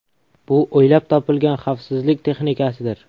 Bu o‘ylab topilgan xavfsizlik texnikasidir.